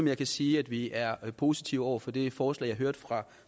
jeg kan sige at vi er positive over for det forslag jeg hørte fra